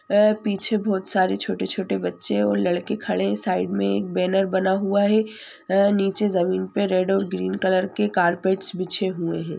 वे पीछे बहुत सारे छोटे-छोटे बच्चे है और लड़के खड़े है साइड में एक बेनर बना हुआ है अ नीचे जमीन पे रेड और ग्रीन कलर के कारपेटस बिच्छे हुए है।